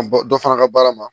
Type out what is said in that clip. An bɔ dɔ fara an ka baara ma